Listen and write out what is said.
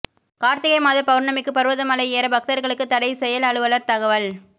கார்த்திகை மாத பவுர்ணமிக்கு பருவத மலை ஏற பக்தர்களுக்கு தடை செயல் அலுவலர் தகவல்